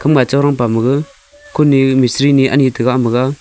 gama chorong pamaga khuni mistri ni anyi tega amaga.